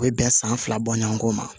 U bɛ bɛn san fila bɔ ɲɔgɔn kɔ ma